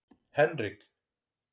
Henrik